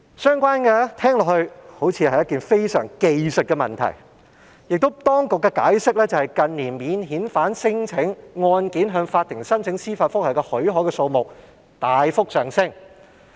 相關事項聽起來好像是一些技術問題，當局解釋也指由於近年免遣返聲請案件向法庭申請司法覆核許可的數目大幅上升，故提出修訂。